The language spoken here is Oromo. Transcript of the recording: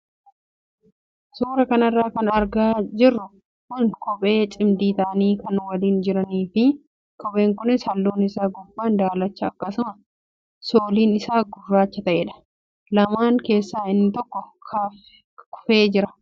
Suuraa kanarra kan argaa jirru kun suuraa kophee cimdii ta'anii kan waliin jiranii fi kopheen kunis halluun isaa gubbaan daalacha akkasumas sooliin isaa gurraacha ta'edha. Lamaan keessaa inni tokko kufee jira.